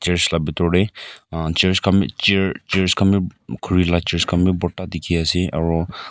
Church la bitor tey umm church khan bi chair chairs khan bi khuri la chairs khan bi bhorta dekhi ase aro--